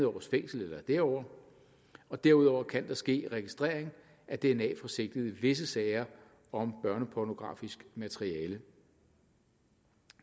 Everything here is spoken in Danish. års fængsel eller derover og derudover kan der ske en registrering af dna fra sigtede i visse sager om børnepornografisk materiale